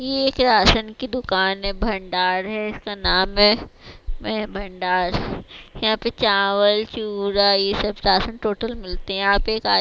ये एक राशन की दुकान है भंडार है इसका नाम है भंडार यहां पर चावल चूड़ा ये सब राशन टोटल मिलते हैं आप एक आ--